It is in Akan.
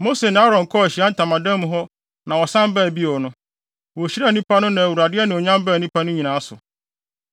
Mose ne Aaron kɔɔ Ahyiae Ntamadan mu hɔ na wɔsan baa bio no, wohyiraa nnipa no na Awurade anuonyam baa nnipa no nyinaa so.